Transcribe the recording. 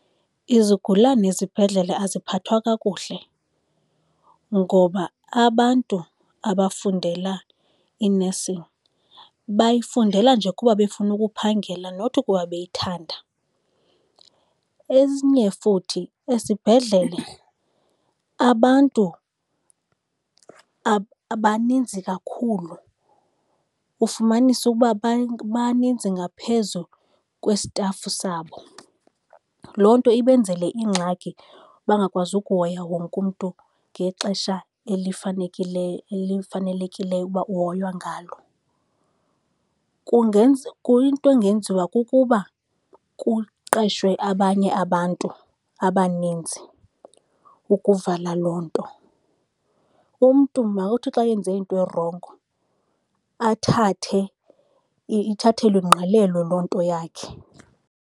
Izigulana ezibhedlele aziphathwa kakuhle ngoba abantu abafundela i-nursing bayifundela nje kuba befuna ukuphangela, not ukuba beyithanda. Enye futhi, esibhedlele abantu baninzi kakhulu, ufumanise ukuba abantu baninzi ngaphezu kwesitafu sabo. Loo nto ibenzele ingxaki, bangakwazi ukuhoya wonke umntu ngexesha elifanelekileyo uba uhoywa ngalo. Into engenziwa kukuba kuqeshwe abanye abantu abaninzi, ukuvala loo nto. Umntu makuthi xa enze into erongo athathwe, ithathelwe ingqalelo loo nto yakhe.